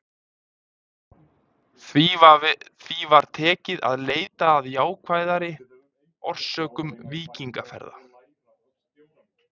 Því var tekið að leita að jákvæðari orsökum víkingaferða.